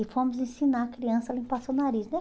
E fomos ensinar a criança a limpar seu nariz, né?